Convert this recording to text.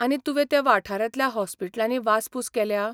आनी तुवें त्या वाठारांतल्या हॉस्पिलटांनी वासपूस केल्या?